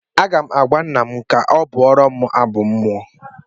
M ga-agwa nna m ka ọ bụọrọm abụ mmụọ